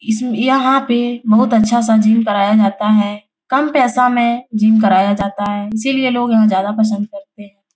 इसमें यहाँ पे बहुत अच्छा सा जिम कराया जाता है। कम पैसा में जिम कराया जाता है इसीलिए लोग यहाँ ज्यादा पसंद करते --